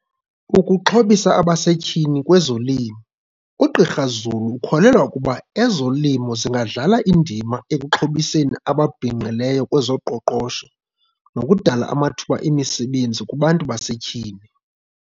Ukuxhobisa abasetyhini ngokwezolimo. UGqr Zulu ukholelwa ukuba ezolimo zingadlala indima ekuxhobiseni ababhinqileyo kwezoqoqosho nokudala amathuba emisebenzi kubantu basetyhini.